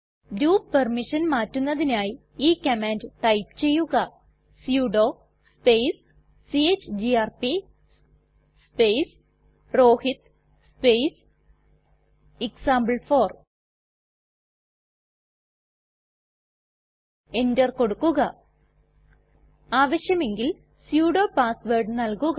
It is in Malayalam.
ഗ്രൂപ്പ് പെർമിഷൻ മാറ്റുന്നതിനായി ഈ കമാൻഡ് ടൈപ്പ് ചെയ്യുക sudo space chgrp space Rohit space example four enter കൊടുക്കുക ആവശ്യമെങ്കിൽ സുഡോ പാസ് വേർഡ് നൽകുക